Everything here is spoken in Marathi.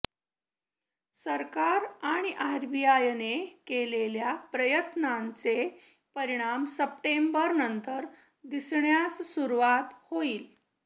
सरकार आणि आरबीआयने केलेल्या प्रयत्नांचे परिणाम सप्टेंबर नंतर दिसण्यास सुरूवात होईल